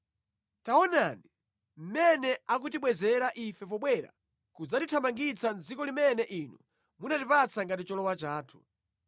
Taonani, mmene akutibwezera ife pobwera kudzatithamangitsa mʼdziko limene inu munatipatsa ngati cholowa chathu.